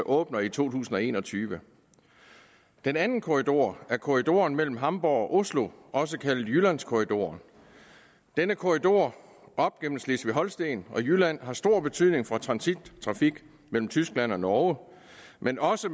åbner i to tusind og en og tyve den anden korridor er korridoren mellem hamborg og oslo også kaldet jyllandskorridoren denne korridor op gennem slesvig holsten og jylland har stor betydning for transittrafik mellem tyskland og norge men også